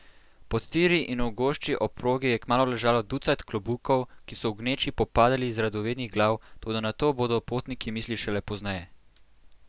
Pod tiri in v gošči ob progi je kmalu ležalo ducat klobukov, ki so v gneči popadali z radovednih glav, toda na to bodo potniki mislili šele pozneje.